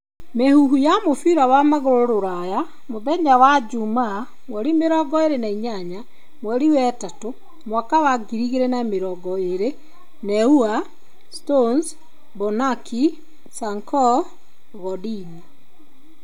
Mĩhuhu ya mũbira wa magũrũ Rũraya mũthenya wa juuma 28.03.2020: Neuer, Stones, Bonucci, Sancho, Godin.